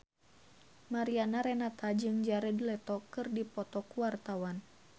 Mariana Renata jeung Jared Leto keur dipoto ku wartawan